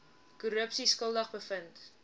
korrupsie skuldig bevind